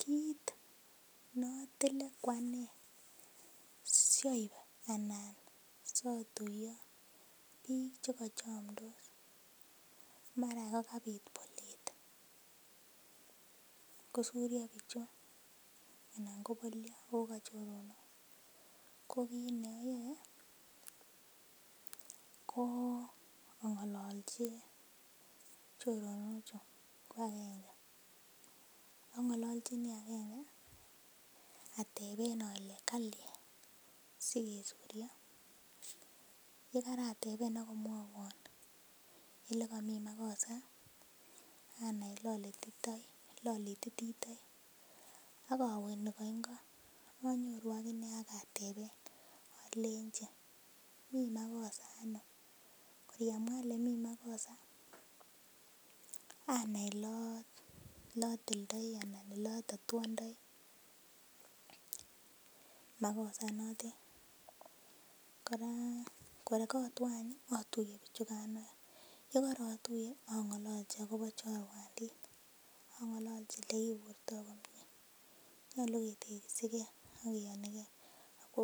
Kit notile ko ane siob anan sotuyo biik chekachomdos mara yan kabit bolet kosuryo bichu anan kobolyo ako kachomdos ko kit neoyoe ko ang'ololchi choronok chu ko agenge, ang'ololchini agenge ateben ole kalyan asikesuryo yekarateben akomwowon elekomii makosa anai elolitoi elolititoi ak owe nikongo akonyoru akinee ak ateben olenji mii makosa ano kor yemwaa elemii makosa anai elotildoo anan elotatuondoi makosa inotet kora kor kotwo any ih atuiye bichukan any yekorotuiye ang'ololchin akobo chorwandit ang'ololchi yekiburtoo komie, nyolu ketegisigee ak kiyonigee ako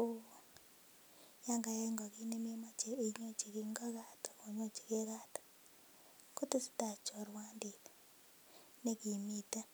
yan kayai ngo kit nememoche inyochi ngo kat, kinyochingee kat kotesetai chorwandit nekimiten